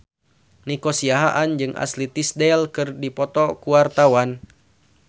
Nico Siahaan jeung Ashley Tisdale keur dipoto ku wartawan